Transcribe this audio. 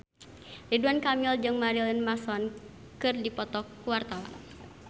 Ridwan Kamil jeung Marilyn Manson keur dipoto ku wartawan